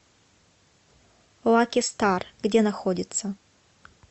лаки стар где находится